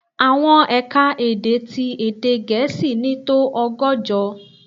Àwọn è̀ka-èdè tí èdè Gẹ̀ẹ́sì ní tó ọgọ́jọ.